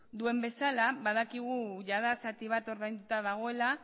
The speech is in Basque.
duen bezala badakigu jada zati bat ordainduta dagoela